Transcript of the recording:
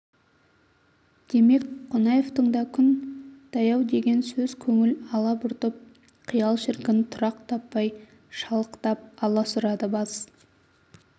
демек қонаевтың да күн таяу деген сөз көңіл алабұртып қиял шіркін тұрақ таппай шалықтап аласұрады бас